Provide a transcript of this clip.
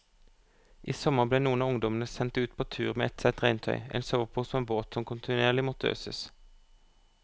I sommer ble noen av ungdommene sendt ut på tur med ett sett regntøy, en sovepose og en båt som kontinuerlig måtte øses.